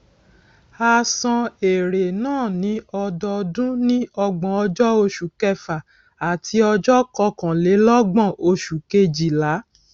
a san èrè náà ní ọdọọdún ní ọgbòn ọjó oṣù kẹfà àti ọjó kọkànlélógbòn oṣù kejìlá